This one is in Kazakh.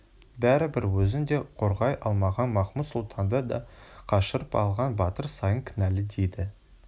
бәрібір өзін де қорғай алмаған махмуд-сұлтанды да қашырып алған батыр саян кінәлы дейді